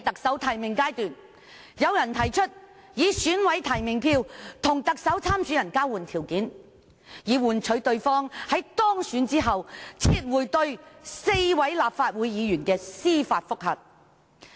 在提名階段，有人提出以選舉委員會委員提名票作為交換條件，遊說某特首參選人當選後撤回對4名立法會議員的司法覆核。